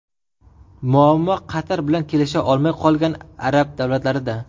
Muammo Qatar bilan kelisha olmay qolgan arab davlatlarida.